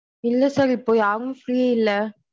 இல்ல sir இப்போ யாரும் free இல்ல.